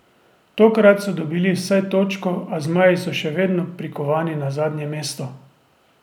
Tokrat so dobili vsaj točko, a zmaji so še vedno prikovani na zadnje mesto.